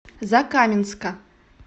закаменска